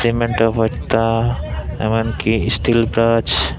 imentaw boitta emon ki istil brash.